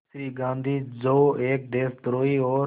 श्री गांधी जो एक देशद्रोही और